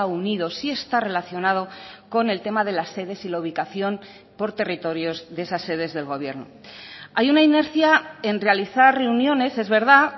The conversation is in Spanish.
unido si está relacionado con el tema de las sedes y la ubicación por territorios de esas sedes del gobierno hay una inercia en realizar reuniones es verdad